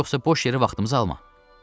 Yoxsa boş yerə vaxtımızı alma.